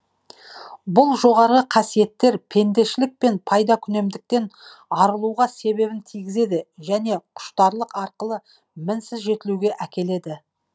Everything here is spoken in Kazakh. бұл жоғары қасиеттер пендешілік пен пайдакүнемдіктен арылуға себебін тигізеді және құштарлық арқылы мінсіз жетілуге әкеледі